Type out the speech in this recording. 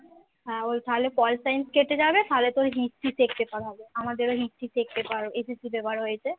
তাহলে pol science কেটে যাবে তাহলে তোর history check peaper হবে আমাদেরও history check peaperSSC paper হয়েছে